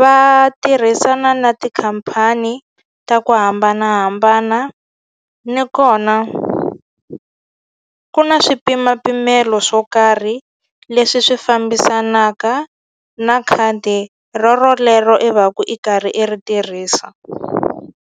va tirhisana na tikhampani ta ku hambanahambana ni kona ku na swipimapimelo swo karhi leswi swi fambisanaka na khadi ro rolero i va ku i karhi i ri tirhisa.